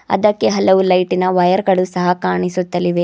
ಅದಕ್ಕೆ ಹಲವು ಲೈಟಿನ ವೈರ್ ಗಳು ಸಹ ಕಾಣಿಸುತ್ತಲಿವೆ.